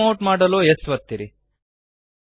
zoom out ಮಾಡಲು S ಒತ್ತಿರಿ